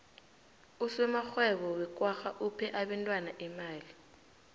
usomarhwebo wekwagga uphe abentwana imali